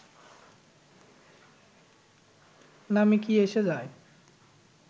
নামে কী এসে যায়